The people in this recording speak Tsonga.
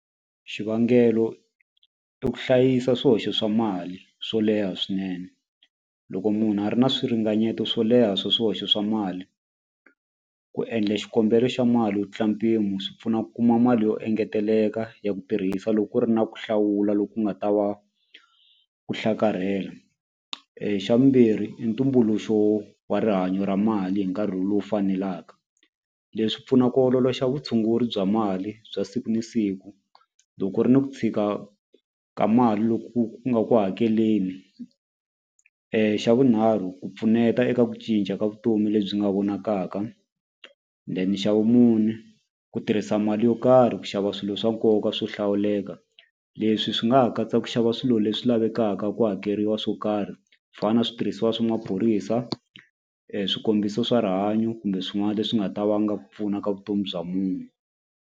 Xivangelo i ku hlayisa swihoxo swa mali swo leha swinene loko munhu a ri na swi ringanyeto swo leha swa swihoxo swa mali ku endla xikombelo xa mali yo tlula mpimo swi pfuna ku kuma mali yo engeteleka ya ku tirhisa loko ku ri na ku hlawula loku nga ta va ku hlakarhela xa vumbirhi i ntumbuluxo wa rihanyo ra mali hi nkarhi lowu fanelaka leswi pfuna ku ololoxa vutshunguri bya mali bya siku ni siku loko ku ri ni ku fika ka mali loku ku nga ku hakeleni xa vunharhu ku pfuneta eka ku cinca ka vutomi lebyi nga vonakaka then xa vumune ku tirhisa mali yo karhi ku xava swilo swa nkoka swo hlawuleka leswi swi nga ha katsa ku xava swilo leswi lavekaka ku hakeriwa swo karhi ku fana na switirhisiwa swa maphorisa swikombiso swa rihanyo kumbe swin'wana leswi nga ta vanga ku pfuna ka vutomi bya munhu.